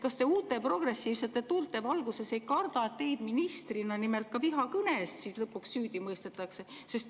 Kas te uute, progressiivsete tuulte valguses ei karda, et teid ministrina vihakõne eest lõpuks süüdi mõistetakse?